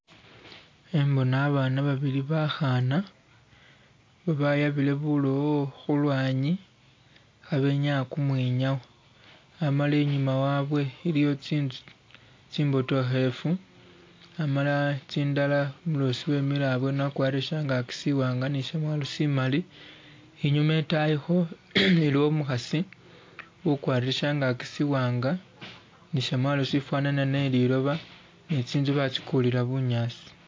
Hembona abana babiri bahaana babayabire bulowo hulwanyi habenyaya kumwinyawo, amala inyuma wabwe iliyo tsinzu tsimbotohelefu amala tsindala umulosi wemile abweni wakwalire shyangaki siwanga ni shyamwalo simali, inyuma itayiho iliwo umuhasi ukwalire shyangaki siwanga ni shyamwalo sifanana ne liloba ne tsinzu batsikulira bunyasi.